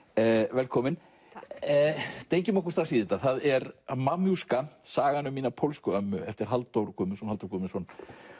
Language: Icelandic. velkomin takk dengjum okkur í þetta það er sagan um mína pólsku ömmu eftir Halldór Guðmundsson Halldór Guðmundsson